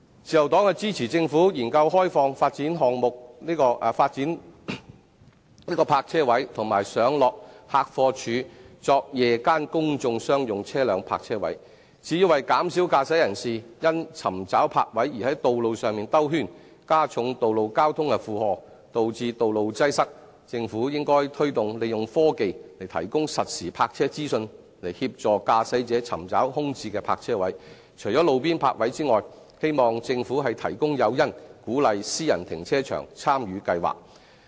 自由黨支持政府研究開放發展項目的泊車位及上落客貨處作夜間公眾商用車輛泊車位，至於為減少駕駛人士因尋找泊位而在道路上兜圈，加重道路交通的負荷，導致道路擠塞，政府應推動利用科技提供實時泊車資訊，以協助駕駛者尋找空置的泊車位，除了路邊泊位外，希望政府提供誘因，鼓勵私人停車場參與計劃。